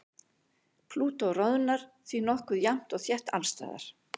Plútó roðnar því nokkuð jafnt og þétt alls staðar.